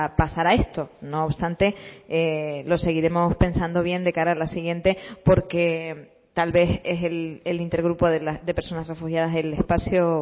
pasar a esto no obstante lo seguiremos pensando bien de cara a la siguiente porque tal vez es el intergrupo de personas refugiadas el espacio